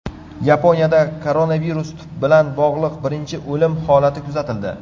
Yaponiyada koronavirus bilan bog‘liq birinchi o‘lim holati kuzatildi.